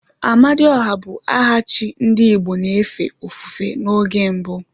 Amadiọha bụ aha chi ndị igbo na-efe ofufe n'oge mbu